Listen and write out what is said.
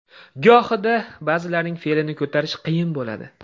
Gohida ba’zilarining fe’lini ko‘tarish qiyin bo‘ladi.